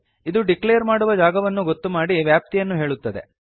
ಇದು ಡಿಕ್ಲೇರ್ ಮಾಡುವ ಜಾಗವನ್ನು ಗೊತ್ತು ಮಾಡಿ ವ್ಯಾಪ್ತಿಯನ್ನು ಹೇಳುತ್ತದೆ